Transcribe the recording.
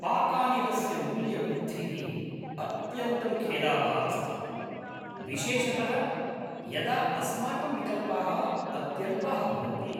पाकानिलस्य मूल्यवृद्धिः अत्यन्तं खेदावहा अस्ति, विशेषतः यदा अस्माकं विकल्पाः अत्यल्पाः भवन्ति।